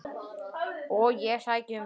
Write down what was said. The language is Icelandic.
Og ég sæki um.